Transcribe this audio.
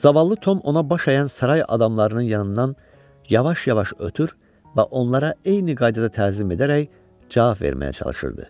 Zavallı Tom ona baş əyən saray adamlarının yanından yavaş-yavaş ötür və onlara eyni qaydada təzim edərək cavab verməyə çalışırdı.